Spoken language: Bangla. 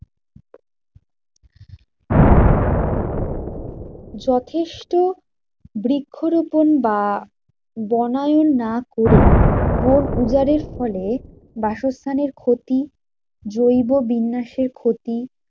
যথেষ্ট বৃক্ষরোপন বা বনায়ন না করে বন উজাড়ের ফলে বাসস্থানের ক্ষতি, জৈব বিন্যাসের ক্ষতি।